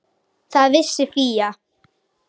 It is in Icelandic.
Það vissi Fía.